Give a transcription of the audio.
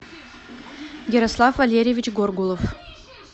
ярослав валерьевич горгулов